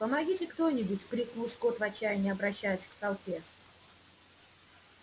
помогите кто нибудь крикнул скотт в отчаянии обращаясь к толпе